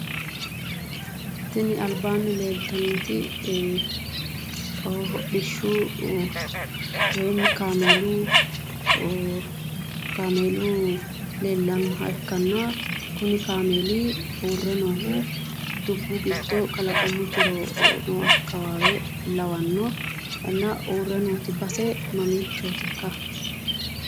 Tini albaanni leeltannoti hodhishshu woyimi kaameelu kaameelu leellannoha ikkanna kuni kaameeli uurre noohu dubbu giddo kalaqamu jiro noo akkawaawe lawanno. Inna uurre nooti base mamiichootikka?